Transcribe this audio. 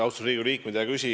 Austatud Riigikogu liikmed!